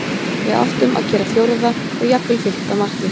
Við áttum að gera fjórða og jafnvel fimmta markið.